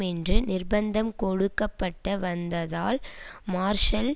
என்று நிர்பந்தம் கொடுக்க பட்ட வந்ததால் மார்ஷல்